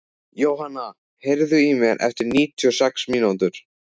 Jóanna, heyrðu í mér eftir níutíu og sex mínútur.